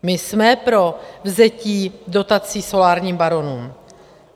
My jsme pro vzetí dotací solárním baronům.